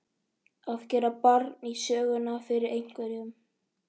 Að gera barn í söguna fyrir einhverjum